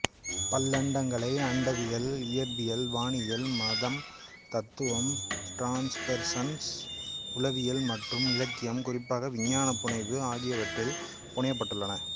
பல்லண்டங்களை அண்டவியல் இயற்பியல் வானியல் மதம் தத்துவம் டிரான்ஸ்பெர்சனல் உளவியல் மற்றும் இலக்கியம் குறிப்பாக விஞ்ஞான புனைவு ஆகியவற்றில் புனையப்பட்டுள்ளன